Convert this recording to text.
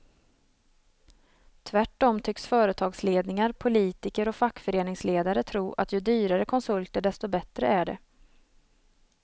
Tvärtom tycks företagsledningar, politiker och fackföreningsledare tro att ju dyrare konsulter desto bättre är det.